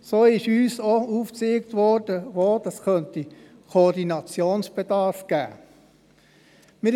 So wurde uns auch aufgezeigt, wo es Koordinationsbedarf geben könnte.